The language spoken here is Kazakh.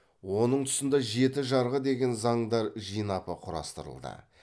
оның тұсында жеті жарғы деген заңдар жинапы құрастырылды